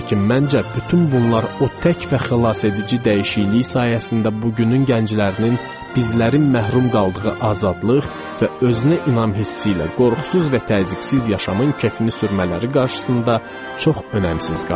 Lakin məncə bütün bunlar o tək və xilasedici dəyişiklik sayəsində bugünün gənclərinin, bizlərin məhrum qaldığı azadlıq və özünə inam hissi ilə qorxusuz və təzyiqsiz yaşamın kefini sürmələri qarşısında çox önəmsiz qalır.